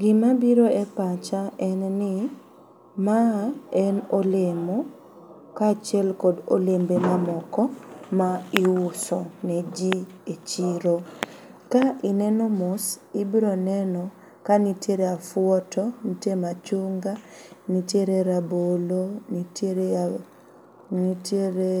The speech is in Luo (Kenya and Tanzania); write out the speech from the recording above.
Gimabiro e pacha en ni maa en olemo kachiel kod olembe mamoko ma iuso ne jii e chiro. Ka ineno mos ibroneno ka nitie afuoto, nitie machunga nitiere rabolo nitiere, nitiere,